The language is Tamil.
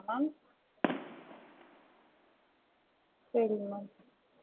ஆமா mam three times க்கும் வந்து forty members க்கு breakfast, lunch, dinner